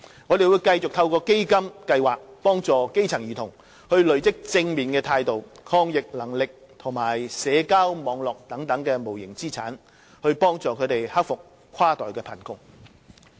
我們會繼續透過基金計劃幫助基層兒童累積正面態度、抗逆能力及社交網絡等無形資產，幫助他們克服跨代貧窮。